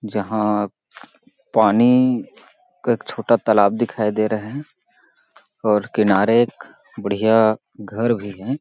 जहां पानी का एक छोटा तालाब दिखाई दे रहे हैं और किनारे एक बढ़िया घर भी हैं।